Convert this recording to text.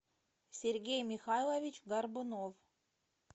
сергей михайлович горбунов